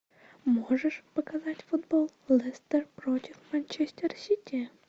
можешь показать футбол лестер против манчестер сити